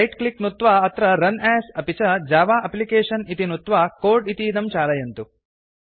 right click कृत्वा तत्र run as अपि च जव एप्लिकेशन इति नुत्त्वा कोड् इतीदं चालयन्तु